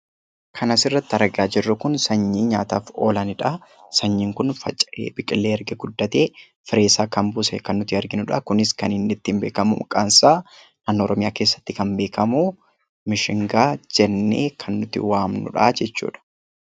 Kan asirratti argaa jirru kun sanyii nyaataaf oolanidha. Sanyiin kun faca'ee biqilee erga guddatee fireesaa kan buuse kan nuti arginudha. Kunis kan ittiin beekkamu maqaansaa an oromiyaa keessaatti kan beekkamu mishingaa jennee kan nuti waamnudhaa jechuudha.